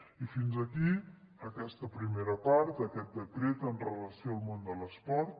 i fins aquí aquesta primera part d’aquest decret en relació amb el món de l’esport